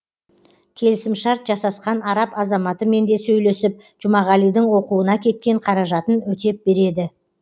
келісімшарт жасасқан араб азаматымен де сөйлесіп жұмағалидің оқуына кеткен қаражатын өтеп береді